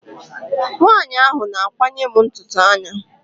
Nwaanyi ahụ na-akwanye m ntutu anya.